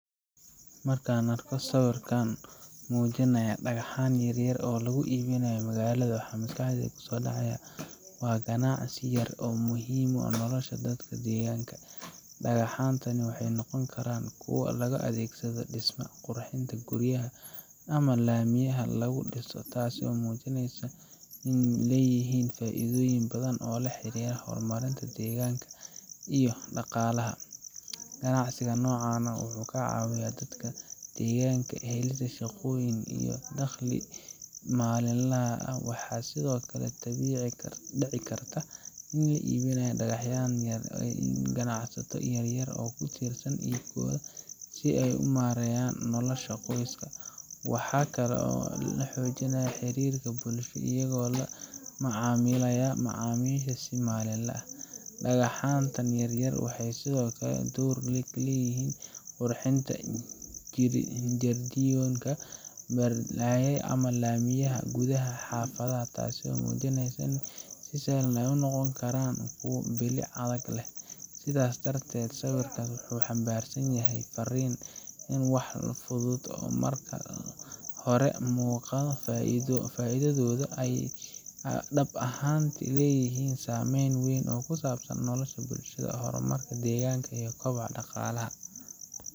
Markaan arko sawir muujinaya dhagxaan yaryar oo lagu iibinayo magaalada, waxaa maskaxdayda ku soo dhacaya ganacsi yar oo muhiim u ah nolosha dadka deegaanka. Dhagxaantani waxay noqon karaan kuwo loo adeegsado dhismaha, qurxinta guryaha, ama laamiyada lagu dhiso, taas oo muujinaysa in ay leeyihiin faa’iidooyin badan oo la xiriira horumarinta deegaanka iyo dhaqaalaha. Ganacsiga noocan ah wuxuu ka caawiyaa dadka deegaanka helidda shaqooyin iyo dakhliga maalinlaha ah. Waxaa sidoo kale dhici karta in dadka iibinaya dhagxaantan ay yihiin ganacsato yaryar oo ku tiirsan iibkooda si ay u maareeyaan noloshooda qoys. Waxaa kale oo ay xoojinayaan xiriirka bulsho iyagoo la macaamilaya macaamiisha si maalinle ah. Dhagxaanta yaryar waxay sidoo kale door ku leeyihiin qurxinta jardiinooyinka, barxadaha, ama laamiyada gudaha ee xaafadaha, taasoo muujinaysa in wax sahlan ay noqon karaan kuwo bilic iyo adeegba leh. Sidaa darteed, sawirkan wuxuu xambaarsan yahay farriin ah in walxo fudud oo aan marka hore muuqan faa’iidadooda, ay dhab ahaantii leeyihiin saameyn weyn oo ku saabsan nolosha bulshada, horumarka deegaanka, iyo kobaca dhaqaalaha.